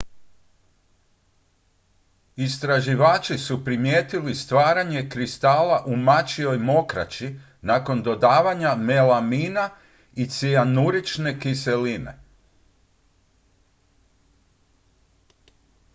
istraživači su primijetili stvaranje kristala u mačjoj mokraći nakon dodavanja melamina i cianurične kiseline